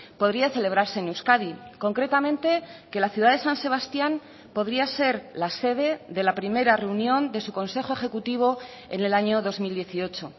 podría celebrarse en euskadi concretamente que la ciudad de san sebastián podría ser la sede de la primera reunión de su consejo ejecutivo en el año dos mil dieciocho